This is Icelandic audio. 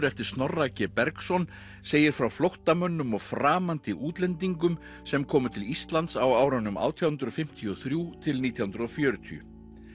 eftir Snorra b Bergsson segir frá flóttamönnum og framandi útlendingum sem komu til Íslands á árunum átján hundruð fimmtíu og þrjú til nítján hundruð og fjörutíu